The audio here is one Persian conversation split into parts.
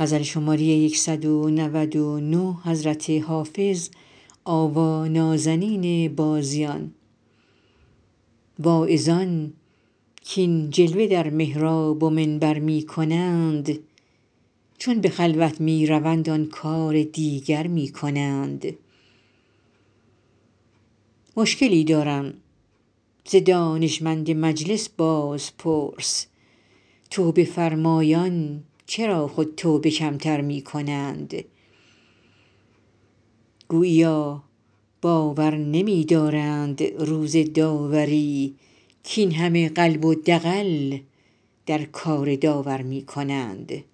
واعظان کاین جلوه در محراب و منبر می کنند چون به خلوت می روند آن کار دیگر می کنند مشکلی دارم ز دانشمند مجلس بازپرس توبه فرمایان چرا خود توبه کم تر می کنند گوییا باور نمی دارند روز داوری کاین همه قلب و دغل در کار داور می کنند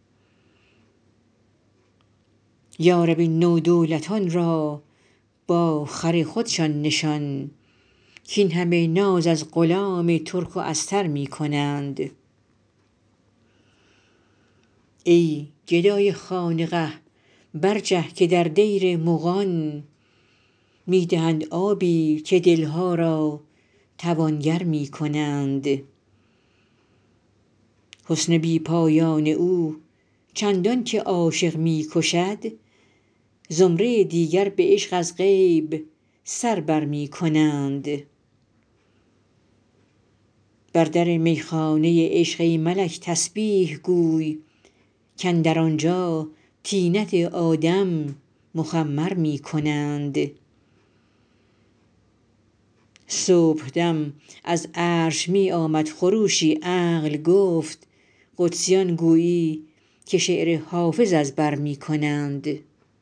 یا رب این نودولتان را با خر خودشان نشان کاین همه ناز از غلام ترک و استر می کنند ای گدای خانقه برجه که در دیر مغان می دهند آبی و دل ها را توانگر می کنند حسن بی پایان او چندان که عاشق می کشد زمره دیگر به عشق از غیب سر بر می کنند بر در می خانه عشق ای ملک تسبیح گوی کاندر آنجا طینت آدم مخمر می کنند صبح دم از عرش می آمد خروشی عقل گفت قدسیان گویی که شعر حافظ از بر می کنند